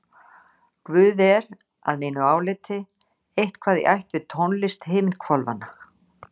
Guð er, að mínu áliti, eitthvað í ætt við Tónlist Himinhvolfanna.